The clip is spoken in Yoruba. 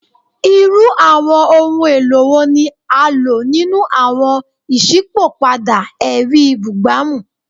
Irú àwọn ohun èlò wo ni a lò nínú àwọn iṣipopada ẹri bugbamu?